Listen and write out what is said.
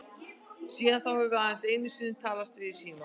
Síðan þá höfum við aðeins einu sinni talast við í síma.